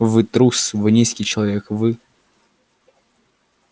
вы трус вы низкий человек вы